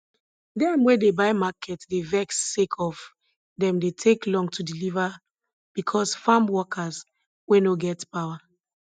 dem wey dey buy market dey vex sake of dem dey take long to deliver bicos farm workers wey nor get power